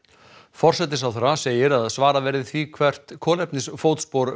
forsætisráðherra segir að svara verði því hvert kolefnisfótspor